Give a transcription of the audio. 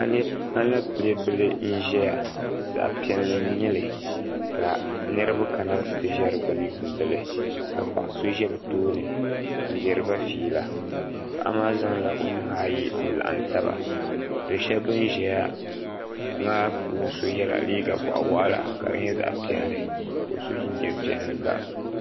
alɛpilɛ bili n ʒɛya zaɣ piɛlli n nyɛli ka niraba kana ti ʒɛ di gbuni n yuundili ka paɣa so ʒɛ bi tooni n diriba fiila paɣa maa zaŋla o nuhi ayi n laɣam taba do so bin ʒɛya maa puuni so yɛla liiga boɣa waɣala ka di nyɛ zaɣ piɛlli ka o so jinjɛm piɛlli gba